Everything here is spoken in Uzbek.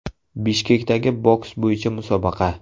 Bishkekdagi boks bo‘yicha musobaqa.